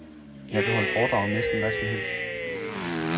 Jeg kan holde foredrag om næsten hvad som helst.